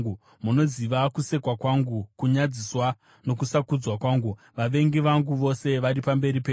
Munoziva kusekwa kwangu, kunyadziswa nokusakudzwa kwangu; vavengi vangu vose vari pamberi penyu.